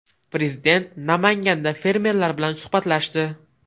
Prezident Namanganda fermerlar bilan suhbatlashdi.